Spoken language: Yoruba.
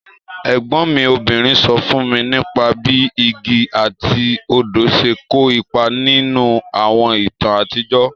Ègbón mi obìnrin so fún mi nípa bí igi àti odò se kó ipa nínú àwọn ìtàn àtijọ́.